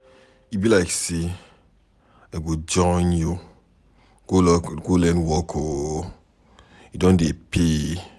E be like say I go join you go learn work oo, e don dey pay.